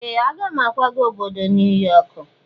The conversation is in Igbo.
Ee! Aga m akwaga obodo New York.